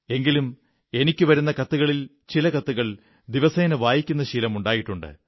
എങ്കിലും എനിക്കു വരുന്ന കത്തുകളിൽ ചില കത്തുകൾ ദിവസേന വായിക്കുന്ന ശീലം ഉണ്ടായിട്ടുണ്ട്